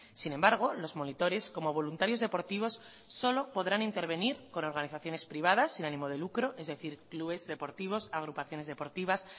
sin embargo los monitores como voluntarios deportivos solo podrán intervenir con organizaciones privadas sin animo de lucro es decir clubes deportivos agrupaciones deportivas